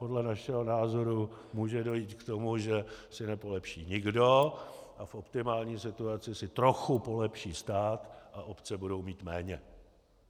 Podle našeho názoru může dojít k tomu, že si nepolepší nikdo, a v optimální situaci si trochu polepší stát a obce budou mít méně.